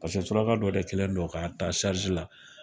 Pase suraka dɔ de kɛlen don k'a taa sarizi la